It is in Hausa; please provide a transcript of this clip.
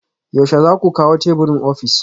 Yaushe za ku kawo teburin ofis?